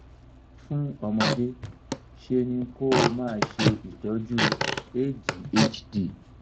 fún ọmọdé ṣe ni kó o máa ṣe ìtọ́jú adhd